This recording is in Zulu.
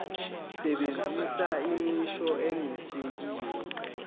sebenzisa imisho enesakhiwo